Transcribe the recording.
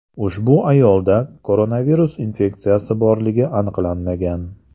Ushbu ayolda koronavirus infeksiyasi borligi aniqlanmagan.